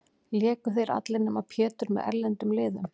Léku þeir allir, nema Pétur, með erlendum liðum.